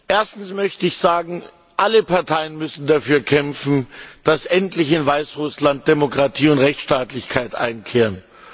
Erstens möchte ich sagen, alle Parteien müssen dafür kämpfen, dass endlich in Weißrussland Demokratie und Rechtsstaatlichkeit einkehren.